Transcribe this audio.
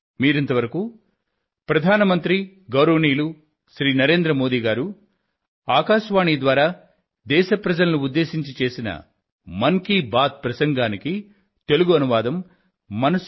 మీకందరికీ మంచి జరుగుగాక